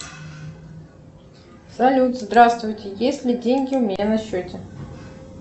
салют здравствуйте есть ли деньги у меня на счете